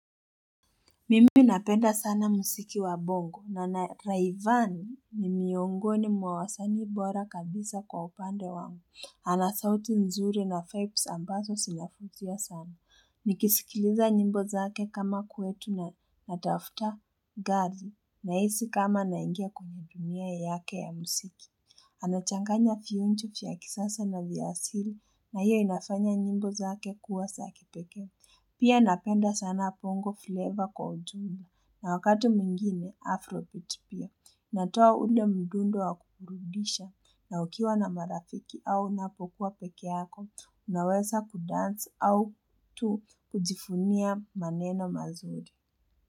Mimi napenda sana muziki wa bongo na na Raivani ni miongoni mwa wasanii bora kabisa kwa upande wangu. Ana sauti nzuri na Fibes ambazo zina futia sana. Nikisikiliza nyimbo zake kama kwetu na Garvey nahisi kama naingia kumudumia yake ya musiki. Anachanganya fiunchu vya kisasa na vya asili na hiyo inafanya nyimbo zake kuwa za kipekee. Pia napenda sana bongo flavor kwa ujumla na wakati mwingine afrobit pia natowa ule mdundo wa kuburudisha na ukiwa na marafiki au unapokuwa pekeako unawesa kudansi au tu kujifunia maneno mazuri.